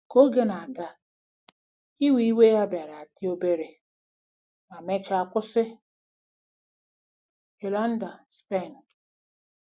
Ka oge na-aga, iwe iwe ya bịara dị obere ma mechaa kwụsị. ”— Yolanda, Spain.